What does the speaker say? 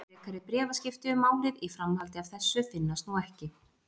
Frekari bréfaskipti um málið í framhaldi af þessu finnast nú ekki.